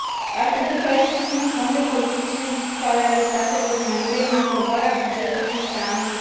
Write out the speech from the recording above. Ar trebui ca el să țină cont de politicile fiscale ale statelor membre în aprobarea bugetului pe anul